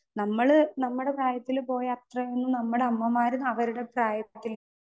Speaker 2 നമ്മള് നമ്മടെ പ്രായത്തില് പോയ അത്രെയൊന്നും നമ്മടെ അമ്മമാരും അവരുടെ പ്രായത്തിൽ.